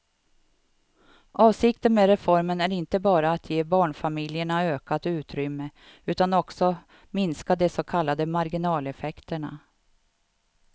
Avsikten med reformen är inte bara att ge barnfamiljerna ökat utrymme utan också minska de så kallade marginaleffekterna.